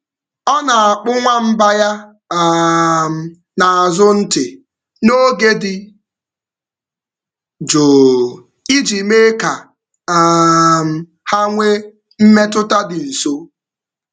Ọ na-akpụ nwamba ya um n’azụ ntị n’oge dị jụụ iji mee ka um ha nwee mmetụta dị nso.